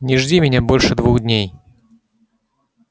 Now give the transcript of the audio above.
не жди меня больше двух дней